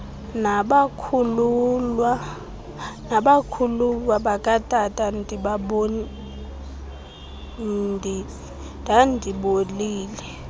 nabakhuluwa bakatata ndandibolile